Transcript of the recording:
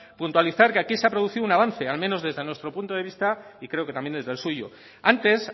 puntualizar que aquí se ha producido un avance al menos desde nuestro punto de vista y creo que también desde el suyo antes